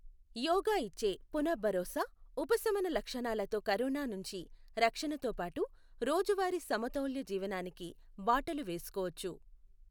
యోగా ఇచ్చే పున భరోసా, ఉపశమన లక్షణాలతో కరోనా నుంచి రక్షణతోపాటు రోజువారీ సమతౌల్య జీవనానికి బాటలు వేసుకోవచ్చు.